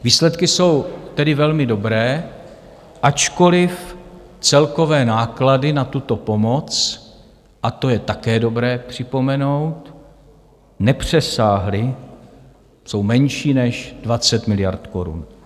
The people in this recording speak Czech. Výsledky jsou tedy velmi dobré, ačkoliv celkové náklady na tuto pomoc, a to je také dobré připomenout, nepřesáhly, jsou menší než 20 miliard korun.